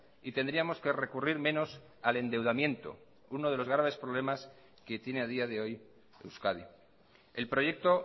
y tendríamos que recurrir menos al endeudamiento uno de los graves problemas que tiene a día de hoy euskadi el proyecto